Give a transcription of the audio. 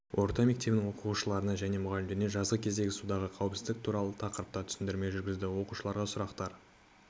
орта мектебінің оқушыларына және мұғалімдеріне жазғы кезендегі судағы қауіпсіздік туралы тақырыпта түсіндірмелер жүргізді оқушылар сұрақтар